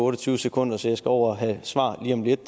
og tyve sekunder så jeg skal over og have svar lige om lidt